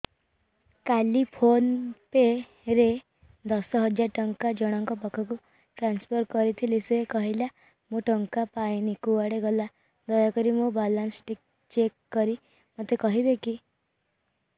କାଲି PhonePe ରେ ଦଶ ହଜାର ଟଙ୍କା ଜଣକ ପାଖକୁ ଟ୍ରାନ୍ସଫର୍ କରିଥିଲି ସେ କହିଲା ମୁଁ ଟଙ୍କା ପାଇନି କୁଆଡେ ଗଲା ଦୟାକରି ମୋର ବାଲାନ୍ସ ଚେକ୍ କରି ମୋତେ କହିବେ କି